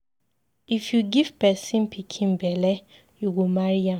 If you give pesin pikin belle, you go marry am.